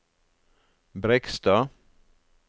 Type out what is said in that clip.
Brekstad